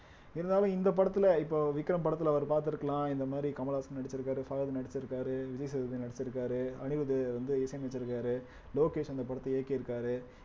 இருந்தாலும் இந்த படத்துல இப்ப விக்ரம் படத்துல அவர் பாத்திருக்கலாம் இந்த மாரி கமலஹாசன் நடிச்சிருக்காரு பஃஹத் நடிச்சிருக்காரு விஜய் சேதுபதி நடிச்சிருக்காரு அனிருத் வந்து இசையமைச்சிருக்காரு லோகேஷ் அந்த படத்தை இயக்கியிருக்காரு